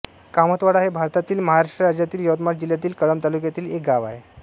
कामतवाडा हे भारतातील महाराष्ट्र राज्यातील यवतमाळ जिल्ह्यातील कळंब तालुक्यातील एक गाव आहे